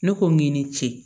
Ne ko i ni ce